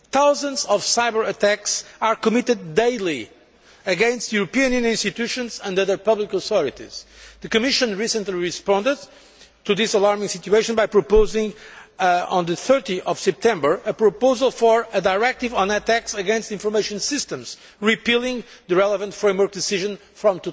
Thousands of cyber attacks are committed daily against European Union institutions and other public authorities. The Commission recently responded to this alarming situation by proposing, on 30 September, a proposal for a directive on attacks against information systems, repealing the relevant framework decision from